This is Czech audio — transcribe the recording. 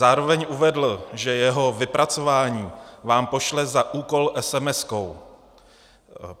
Zároveň uvedl, že jeho vypracování vám pošle za úkol esemeskou.